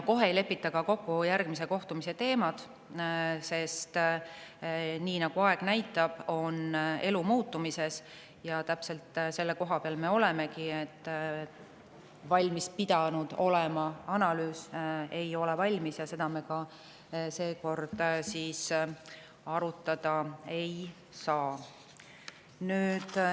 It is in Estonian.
Kohe ei lepita kokku ka järgmise kohtumise teemasid, sest aeg on näidanud, et elu on muutumises: täpselt praegu me oleks pidanud valmis olema, aga analüüs ei ole valmis ja seda me seekord arutada ei saa.